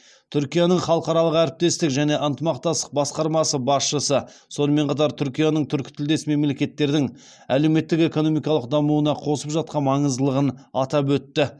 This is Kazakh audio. түркияның халықаралық әрекеттестік және ынтымақтастық басқармасы басшысы сонымен қатар түркияның түркітілдес мемлекеттердің әлеуметтік экономикалық дамуына қосып жатқан маңыздылығын атап өтті